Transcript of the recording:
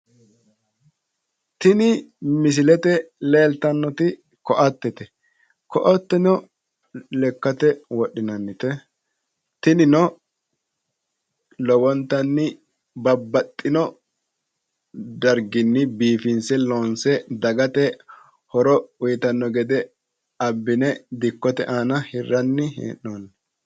Tini misilete leeltannoti koatete koateno lekkate wodhinannite. Tinino lowontanni babbaxino darginni biifinse looonse dagate horo uuyitanno gede abbine dikkote aana hirranni hee'noonni.